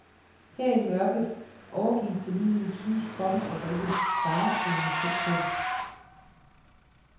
Her i mørket, overgivet til lyden, synes kroppen at rykke faretruende tæt på.